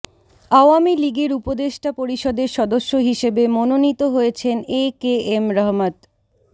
আওয়ামী লীগের উপদেষ্টা পরিষদের সদস্য হিসেবে মনোনীত হয়েছেন এ কে এম রহমত